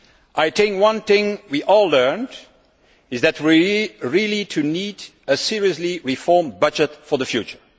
I think one thing we all learned is that we really need to see a seriously reformed budget for the future.